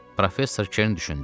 Professor Kern düşündü.